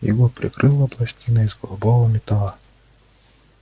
его прикрыла пластина из голубого металла